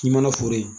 K'i mana foro ye